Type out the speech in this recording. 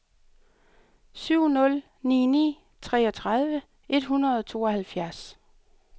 syv nul ni ni treogtredive et hundrede og tooghalvfjerds